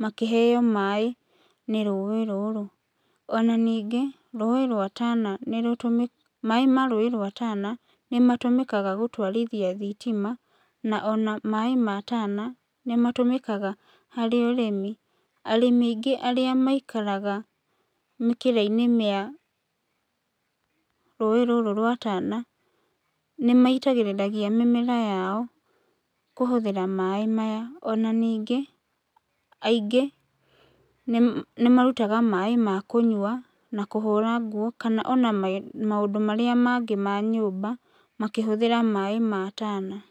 makĩheo maĩ nĩ rũĩ rũrũ. Ona ningĩ rũĩ rwa Tana nĩrũtũmĩkaga, maĩ ma rũĩ rwa Tana nĩmatũmĩkaga gũtwarithia thitima, na ona maĩ ma Tana, nĩmatũmĩkaga harĩ ũrĩmi, arĩmi aingĩ arĩa maikaraga mĩkĩrainĩ ya rũĩ rũrũ rwa Tana, nĩmaitagĩrĩria mĩmera yao kũhũthĩra maĩ maya ona ningĩ, aingĩ nĩ nĩmarutaga maĩ makũnyua, na kũhũra nguo kana ona ma maũndũ marĩa mangĩ ma nyũmba, makĩhũthĩra maĩ ma Tana.